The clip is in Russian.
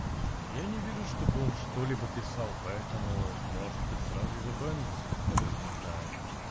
я не вижу чтобы он что-либо писал поэтому может быть сразу забанить я даже не знаю